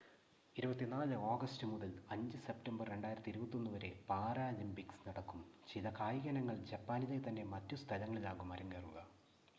24 August മുതൽ 5 September 2021 വരെ Paralympics നടക്കും.ചില കായിക ഇനങ്ങൾ ജപ്പാനിലെതന്നെ മറ്റു സ്ഥലങ്ങളിലാകും അരങ്ങേറുക